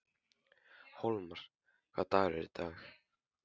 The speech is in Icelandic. Hólmar, hvaða dagur er í dag?